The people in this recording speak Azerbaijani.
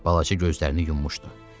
Balaca gözlərini yummuşdu.